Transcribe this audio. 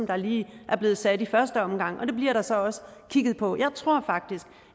der lige er blevet sat i første omgang og det bliver der så også kigget på jeg tror faktisk